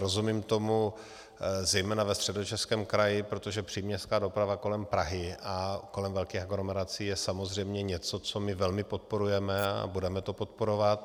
Rozumím tomu zejména ve Středočeském kraji, protože příměstská doprava kolem Prahy a kolem velkých aglomerací je samozřejmě něco, co my velmi podporujeme a budeme to podporovat.